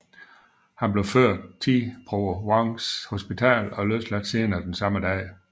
Han blev ført ti Providence Hospital og løsladt senere den samme dag